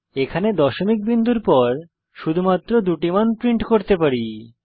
এখানে দশমিক বিন্দুর পর শুধুমাত্র দুটি মান প্রিন্ট করতে পারি